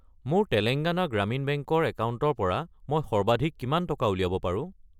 মোৰ তেলেঙ্গানা গ্ৰামীণ বেংক ৰ একাউণ্টৰ পৰা মই সৰ্বাধিক কিমান টকা উলিয়াব পাৰো?